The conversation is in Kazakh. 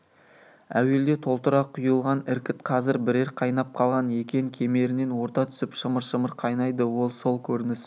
әуелде толтыра құйылған іркіт қазір бірер қайнап қалған екен кемерінен орта түсіп шымыр-шымыр қайнайды сол көрініс